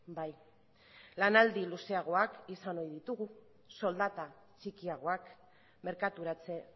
bai lanaldi luzeagoak izan oi ditugu soldata txikiagoak merkaturatze